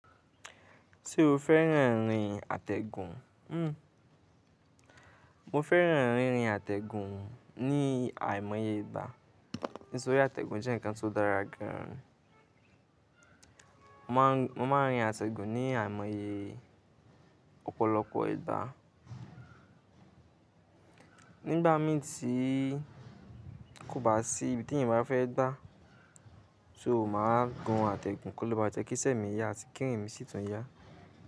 Ṣé o fẹ́ràn rín àtẹ̀gùn? Hhm mo fẹ́ràn rín àtẹ̀gùn ní àìmọye ìgbá, nítorí àtẹ̀gùn jẹ́ ǹkan tó dára gan an. Mo máa rín àtẹ̀gùn ní àìmọye ọ̀pọ̀lọpọ̀ ìgbá. Nígbà míi, tí kò bá sí ibi tí ènìyàn bá fẹ́ gbá, so màá gun àtẹ̀gùn kó le bá jẹ́ kí isẹ́ mi yá àti kí irin mí sì tún yá.